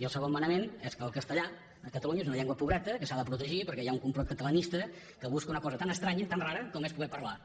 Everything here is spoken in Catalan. i el segon manament és que el castellà a catalunya és una llengua pobreta que s’ha de protegir perquè hi ha un complot catalanista que busca una cosa tan estranya tan rara com és poder parlar